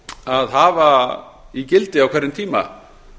að hafa í gildi á hverjum tíma